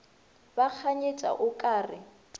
ba kganyetša o ka re